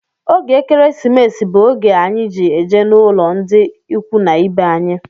Oge ekeresimesi bú oge anyị ji eje n'ụlọ ndị ikwu na ibe anyi